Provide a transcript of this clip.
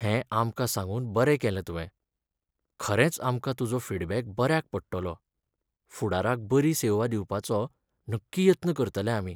हें आमकां सांगून बरें केलें तुवें. खरेंच आमकां तुजो फीडबॅक बऱ्याक पडटलो, फुडाराक बरी सेवा दिवपाचो नक्की यत्न करतले आमी.